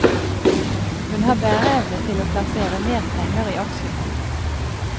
Hun har bæreevne til å plassere mer penger i aksjefond.